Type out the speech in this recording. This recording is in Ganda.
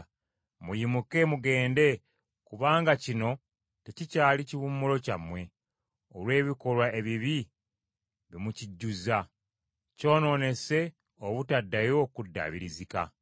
Muyimuke mugende, kubanga kino tekikyali kiwummulo kyammwe; olw’ebikolwa ebibi bye mukijjuzza, kyonoonese obutaddayo kuddaabirizika.